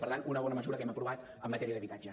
per tant una bona mesura que hem aprovat en matèria d’habitatge